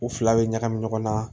U fila bɛ ɲagami ɲɔgɔn na